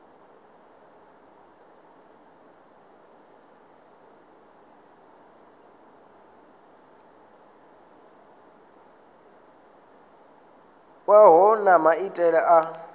wa vhohe na maitele a